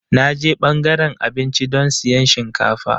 Na je ɓangaren abinci don siyan shinkafa.